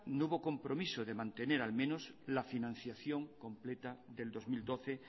no hubo compromiso de mantener al menos la financiación completa del dos mil doce